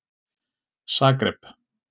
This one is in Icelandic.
Zagreb